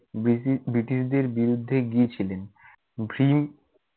ব্রিটি~ ব্রিটিশদের বিরুদ্ধে গিয়েছিলেন। ভীম